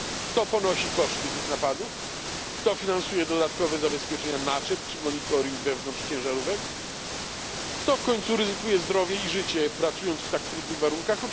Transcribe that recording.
Kto ponosi koszty tych napadów? Kto finansuje dodatkowe zabezpieczenia naczep czy monitoring wewnątrz ciężarówek? Kto w końcu ryzykuje zdrowie i życie, pracując w tak trudnych warunkach?